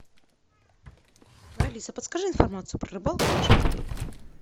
алиса подскажи информацию про рыбалку в нашем отеле